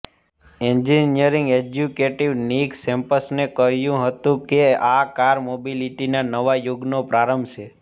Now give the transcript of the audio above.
engineering executive Nick સેમ્પસને કહ્યું હતું કે આ કાર મોબિલિટીના નવા યુગનો પ્રારંભ છે